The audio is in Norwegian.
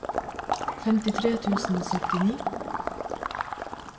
femtitre tusen og syttini